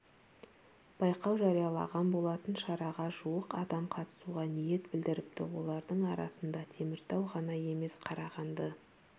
байқау жариялаған болатын шараға жуық адам қатысуға ниет білдіріпті олардың арасында теміртау ғана емес қарағанды